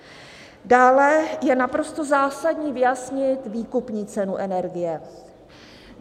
Dále je naprosto zásadní vyjasnit výkupní cenu energie.